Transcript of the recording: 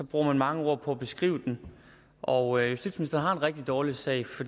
bruger man mange ord på at beskrive den og justitsministeren har en rigtig dårlig sag